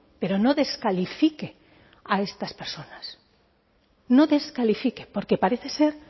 pero no descalifique a estas personas no descalifique porque parece ser